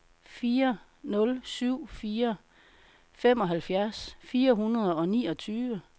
fire nul syv fire femoghalvfjerds fire hundrede og niogtyve